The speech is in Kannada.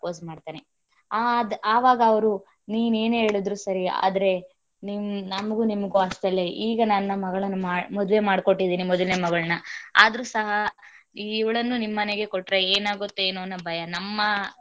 Propose ಮಾಡ್ತಾನೆ ಆದ್ ಆವಾಗ ಅವರು ನೀನ್ ಏನೇ ಹೇಳಿದರು ಸರಿ ಆದರೆ ನಮಗೂ ನಿಮಗೂ ಹೀ ಗೆ ನನ್ನ ಮಗಳನ್ನ ಮದ್ವೆ ಮಾಡಿ ಕೊಟ್ಟಿದಿನಿ ಮೊದಲನೇ ಮಗಳನ್ನ ಆದರೂ ಸಹ ಇವಳನ್ನು ಸಹ ನಿಮ್ಮನೆಗೆ ಕೊಟ್ಟರೆ ಏನಾಗುತ್ತೊ ಏನೋ ಅಂತ ಭಯ.